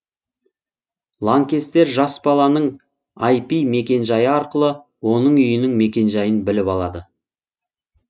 лаңкестер жас баланың айпи мекенжайы арқылы оның үйінің мекенжайын біліп алады